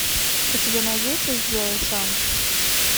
у тебя найдется сделай сам